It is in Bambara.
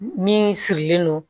Min sirilen don